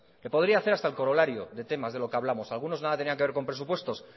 le podría hacer hasta el corolario de temas de lo que hablamos algunos nada tenían que ver con presupuestos